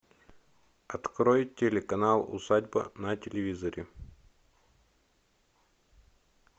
открой телеканал усадьба на телевизоре